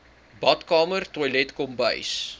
badkamer toilet kombuis